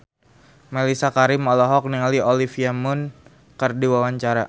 Mellisa Karim olohok ningali Olivia Munn keur diwawancara